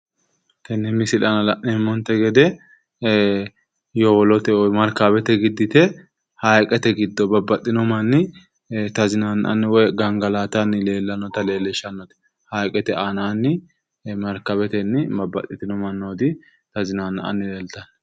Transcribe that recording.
Tenne misile aana la'neemmonte gede yowolote woy markaawete giddite haayiqete giddino manni tazinaanna'anna woy gangalatanni noota leellishshannote haayiqete woy markaawetenni babbaxitino mannooti tazinaanna'anni leeltanno